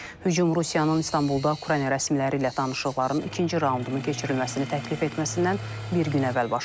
Hücum Rusiyanın İstanbulda Ukrayna rəsmiləri ilə danışıqların ikinci raundunun keçirilməsini təklif etməsindən bir gün əvvəl baş verib.